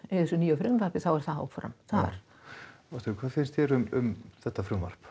í þessum nýju frumvarpi er áfram þar ástríður hvað finnst þér um þetta frumvarp